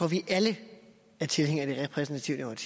vi alle er tilhængere af det repræsentative